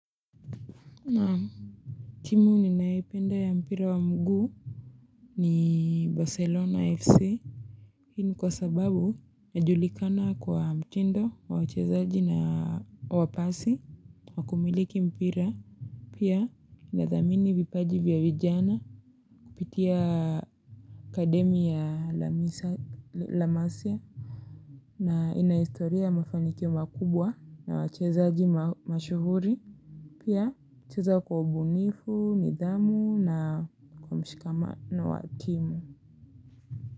Naamu timu ninaipenda ya mpira wa mguu ni Barcelona FC Hii ni kwa sababu majulikana kwa mtindo wa wachezaji na wapasi wakumiliki mpira Pia na dhathamini vipaji vya vijana kupitia akademi ya lamisa la masya na inahistoria mafaniki makubwa na wachezaji mashuhuri Pia ucheza kwa obunifu, midamu na kwa mshikama na wakimu.